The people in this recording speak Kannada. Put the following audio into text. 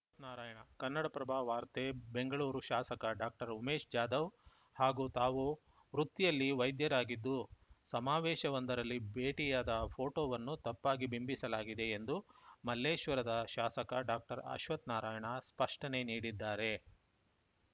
ಅಶ್ವತ್ಥನಾರಾಯಣ ಕನ್ನಡಪ್ರಭ ವಾರ್ತೆ ಬೆಂಗಳೂರು ಶಾಸಕ ಡಾಕ್ಟರ್ ಉಮೇಶ್‌ ಜಾಧವ್‌ ಹಾಗೂ ತಾವು ವೃತ್ತಿಯಲ್ಲಿ ವೈದ್ಯರಾಗಿದ್ದು ಸಮಾವೇಶವೊಂದರಲ್ಲಿ ಭೇಟಿಯಾದ ಫೋಟೋವನ್ನು ತಪ್ಪಾಗಿ ಬಿಂಬಿಸಲಾಗಿದೆ ಎಂದು ಮಲ್ಲೇಶ್ವರದ ಶಾಸಕ ಡಾಕ್ಟರ್ ಅಶ್ವತ್ಥನಾರಾಯಣ ಸ್ಪಷ್ಟನೆ ನೀಡಿದ್ದಾರೆ